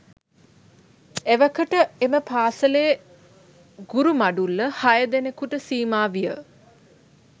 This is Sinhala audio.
එවකට එම පාසලේ ගුරු මඩුල්ල හය දෙනකුට සීමා විය.